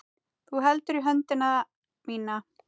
Þú heldur í höndina mína.